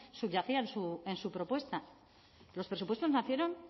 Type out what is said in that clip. subyacía en su propuesta los presupuestos nacieron